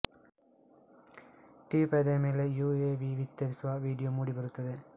TV ಪರದೆಯ ಮೇಲೆ UAV ಬಿತ್ತರಿಸುವ ವಿಡಿಯೊ ಮೂಡಿ ಬರುತ್ತದೆ